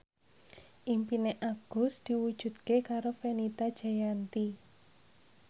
impine Agus diwujudke karo Fenita Jayanti